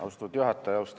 Austatud juhataja!